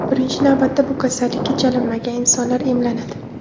Birinchi navbatda bu kasallikka chalinmagan insonlar emlanadi.